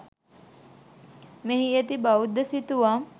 මෙහි ඇති බෞද්ධ සිතුවම්